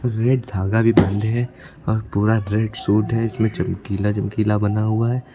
Red धागा भी बंधे है और पूरा रेड सूट है इसमें चमकीला चमकीला बना हुआ है।